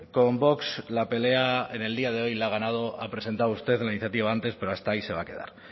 con vox la pelea en el día de hoy la ha ganado ha presentado usted la iniciativa antes pero hasta ahí se va a quedar